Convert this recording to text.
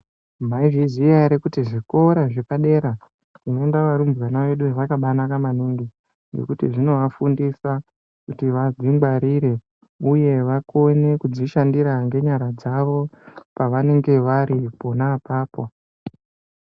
Maizviziya ere kuti zvikoro zvepadera ndau inodirwa kudanana maningi nekuti zvinovafundisa kuti vadzingwarira uye vakone kudzishandira ngenyara dzavo pavanenge vari pona apapo.